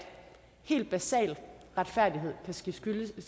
helt basal retfærdighed kan ske fyldest og